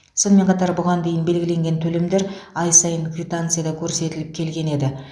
сонымен қатар бұған дейін белгіленген төлемдер ай сайын квитанцияда көрсетіліп келген еді